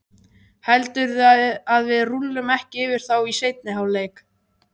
Heldurðu að við rúllum ekki yfir þá í seinni hálfleiknum?